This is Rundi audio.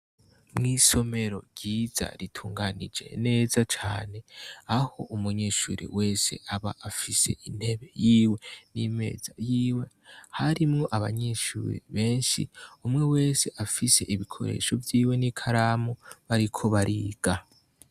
Mw'isomero ryiza ritunganije neza cane, aho umunyeshure wese aba afise intebe yiwe n'imeza yiwe, harimwo abanyeshure benshi, umwese afise ibikoresho vyiwe n'ikaramu, bariko bariga.